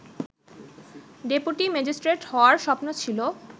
deputy magistrate হওয়ার স্বপ্ন ছিল